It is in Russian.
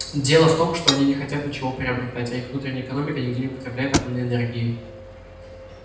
дело в том что они не хотят ничего приобретать а их внутренняя экономика нигде не употребляет атомной энергии